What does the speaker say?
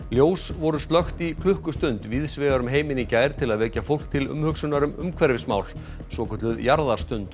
ljós voru slökkt í klukkustund víðs vegar um heiminn í gær til að vekja fólk til umhugsunar um umhverfismál svokölluð